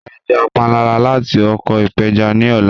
Ra ẹja panla lati oko ipeja ni ọla